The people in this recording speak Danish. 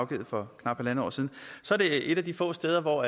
givet for knap halvandet år siden så er det et af de få steder hvor